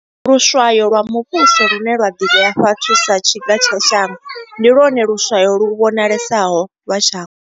Luswayo lwa muvhuso, lune lwa ḓivhiwa hafhu sa tshiga tsha shango, ndi lwone luswayo lu vhonalesaho lwa shango.